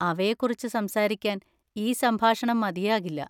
അവയെക്കുറിച്ച് സംസാരിക്കാൻ ഈ സംഭാഷണം മതിയാകില്ല.